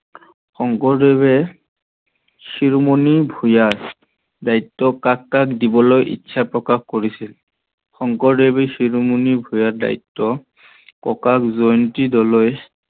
শংকৰদেৱে শিৰুমণি ভূঞাৰ দায়িত্ব কাক কাক দিবলৈ ইচ্ছা প্ৰকাশ কৰিছিল? শংকৰদেৱে শিৰুমণি ভূঞাৰ দায়িত্ব ককাক জয়ন্তী ডলৈক